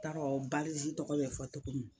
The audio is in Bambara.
N t'a dɔn badizi tɔgɔ be fɔ togo min